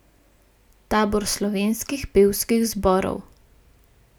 Tabor slovenskih pevskih zborov.